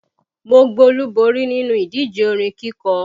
Mo gbolúborí nínú ìdíje orin kíkọ